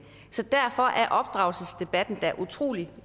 så derfor er opdragelsesdebatten da også utrolig